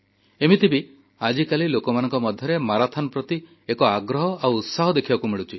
ଏମିତି ବି ଆଜିକାଲି ଲୋକମାନଙ୍କ ମଧ୍ୟରେ ମାରାଥନ୍ ପ୍ରତି ଏକ ଆଗ୍ରହ ଆଉ ଉତ୍ସାହ ଦେଖିବାକୁ ମିଳୁଛି